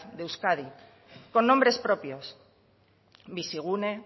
de euskadi con nombres propios bizigune